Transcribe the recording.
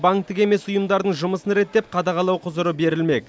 банктік емес ұйымдардың жұмысын реттеп қадағалау құзыры берілмек